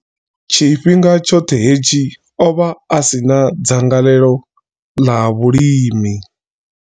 Tshifhinga tshoṱhe hetshi, o vha a si na dzangalelo ḽa vhulimi.